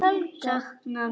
Hann mun sakna mín.